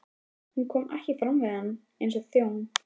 Hún kom ekki fram við hann eins og þjón.